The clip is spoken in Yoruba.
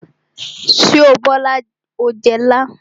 Ṣé o Bola o jẹ ilá?